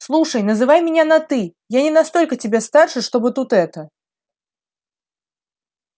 слушай называй меня на ты я не настолько тебя старше чтобы тут это